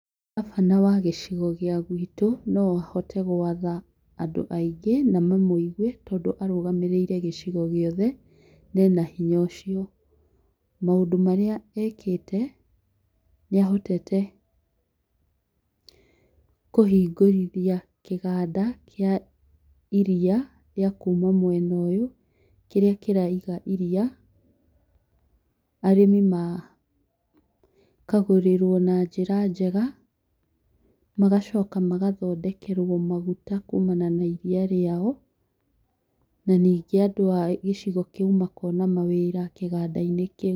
Ngabana wa gĩcigo gĩa gwĩtũ no ahote gwatha andũ aingĩ na mamũigwe tondũ arũgamĩrĩire gĩcigo gĩothe na ena hinya ũcio. Maũndũ marĩa ekĩte nĩ ahotete kũhingũrithia kĩganda kĩa iriya rĩa mwena ũyũ kĩrĩa kĩraiga iriya na arĩmi makagũrĩrwo na njĩra njega, magacoka magathondekerwo maguta kumana na iriya rĩao na ningĩ andũ a gĩcigo kĩu makona wĩra kĩgandainĩ kĩu.